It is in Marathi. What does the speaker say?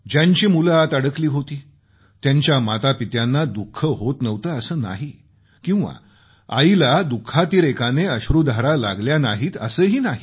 ज्यांची मुलं आत अडकली होती त्यांच्या मातापित्यांना दुःख होत नव्हतं असं नाही किंवा आईला दुःखातिरेकाने अश्रूधारा लागल्या नाहीत असंही नाही